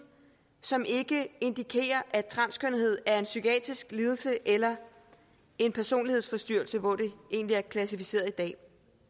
som ikke indikerer at transkønnethed er en psykiatrisk lidelse eller en personlighedsforstyrrelse hvor det egentlig er klassificeret i dag